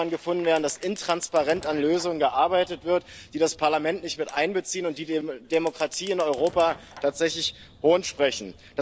gefunden werden, dass intransparent an Lösungen gearbeitet wird, die das Parlament nicht mit einbeziehen und die der Demokratie in Europa tatsächlich Hohn sprechen.